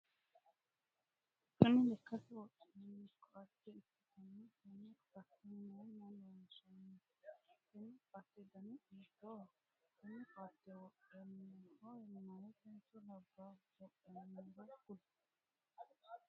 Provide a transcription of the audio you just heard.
Kinni lekate wodhinanni koate ikitanna tenne koate mayinni loonsanni? Tenne koate danni hiitooho? Tenne koate wodhanoho mayitenso labaahu wodhanoro kuli?